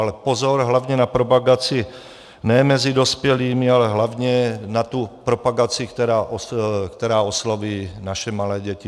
Ale pozor, hlavně na propagaci ne mezi dospělými, ale hlavně na tu propagaci, která osloví naše malé děti.